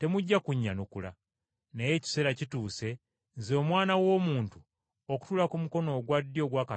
Naye ekiseera kituuse, Nze, Omwana w’Omuntu, okutuula ku mukono ogwa ddyo ogwa Katonda Ayinzabyonna.”